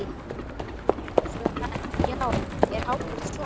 Þá sögðu menn: Já, er hákarl svona?